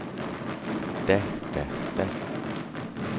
da da da